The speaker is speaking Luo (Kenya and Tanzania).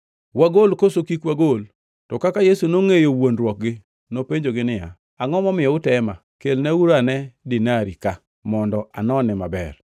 Wagol koso kik wagol?” To kaka Yesu nongʼeyo wuondruokgi, nopenjogi niya, “Angʼo momiyo utema? Kelnauru ane dinari ka, mondo anone maber.”